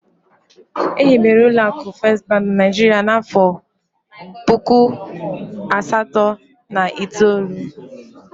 First bank was established in Nigeria in the year one thousand eight hundred and ninety four